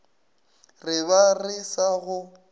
re ba re sa go